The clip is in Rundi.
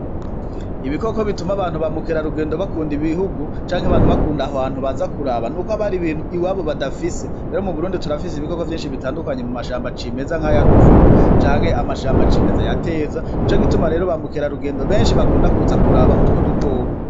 Ibikoko bituma abantu bamukera rugendo bakunda ibihugu canke abantu bakunda aho hantu baza kuraba n' uko abari ibintu i wabo badafise bero mu burundi turafise ibikoko vyinshi bitandukanye mu mashambo ac'imeza nk'aya ruvubu canke amashambo c'imeza ya teza ni co gituma rero bamukera rugendo benshi bakunda kuza kuraba utwo dukoko.